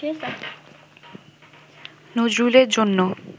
নজরুলের জন্যে